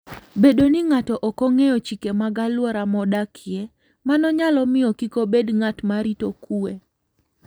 Bedo ni ng'ato ok ong'eyo chike mag alwora modakie, mano nyalo miyo kik obed ng'at ma rito kuwe.